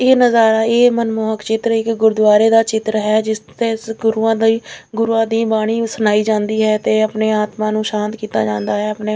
ਇਹ ਨਜ਼ਾਰਾ ਇਹ ਮਨਮੋਹਕ ਚਿੱਤਰ ਇੱਕ ਗੁਰਦੁਆਰੇ ਦਾ ਚਿੱਤਰ ਹੈ ਜਿਸ ਤੇ ਗੁਰੂਆਂ ਦੀ ਗੁਰੂਆਂ ਦੀ ਬਾਣੀ ਸੁਣਾਈ ਜਾਂਦੀ ਹੈ ਤੇ ਆਪਣੀ ਆਤਮਾ ਨੂੰ ਸ਼ਾਂਤ ਕੀਤਾ ਜਾਂਦਾ ਹੈ ਆਪਣੇ --